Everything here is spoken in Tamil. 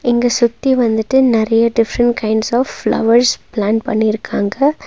இங்க சுத்தி வந்துட்டு நறைய different kinds of flowers plant பண்ணிருக்காங்க.